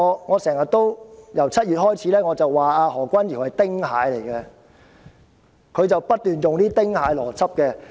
我由7月開始經常指何君堯議員是丁蟹，因為他不斷運用"丁蟹邏輯"。